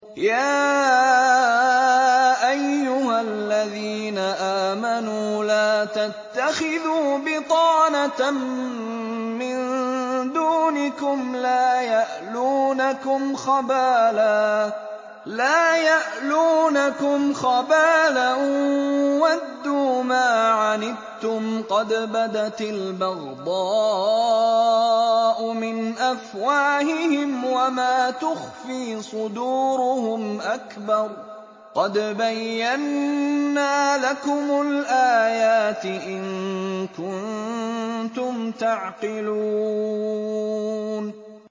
يَا أَيُّهَا الَّذِينَ آمَنُوا لَا تَتَّخِذُوا بِطَانَةً مِّن دُونِكُمْ لَا يَأْلُونَكُمْ خَبَالًا وَدُّوا مَا عَنِتُّمْ قَدْ بَدَتِ الْبَغْضَاءُ مِنْ أَفْوَاهِهِمْ وَمَا تُخْفِي صُدُورُهُمْ أَكْبَرُ ۚ قَدْ بَيَّنَّا لَكُمُ الْآيَاتِ ۖ إِن كُنتُمْ تَعْقِلُونَ